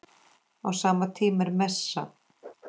Á sama tíma er messa.